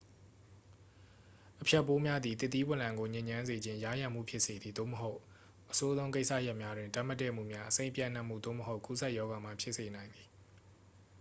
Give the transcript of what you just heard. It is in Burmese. အဖျက်ပိုးများသည် သစ်သီး0လံကို ညစ်ညမ်းစေခြင်း ယားယံမှု ဖြစ်စေသည် သို့မဟုတ် အဆိုးဆုံး ကိစ္စရပ်များတွင် ဓာတ်မတည့်မှုများ အဆိပ်ပျံ့နှံ့မှု သို့မဟုတ် ကူးစက်ရောဂါများ ဖြစ်စေနိုင်ပါသည်